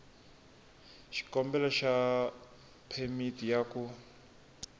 xikombelo xa phemiti ya ku